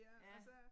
Ja